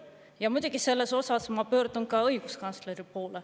Ma muidugi selles osas pöördun ka õiguskantsleri poole.